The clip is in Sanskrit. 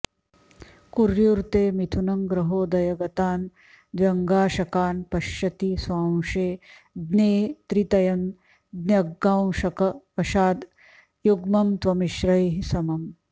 कुर्युर्ते मिथुनं ग्रहोदय गतान् द्व्यङ्गांशकान् पश्यति स्वांशे ज्ञे त्रितयं ज्ञगांशक वशाद् युग्मं त्वमिश्रैः समम्